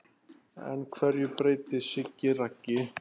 En hverju breytti Siggi Raggi?